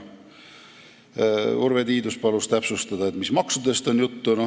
Urve Tiidus palus täpsustada, mis maksudest on juttu.